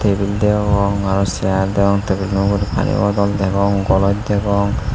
table deongor aro sear tablilo ugure pani bodol degong goloch degong.